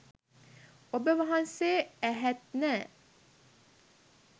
ඔබ වහන්සේ ඇහෙත් නෑ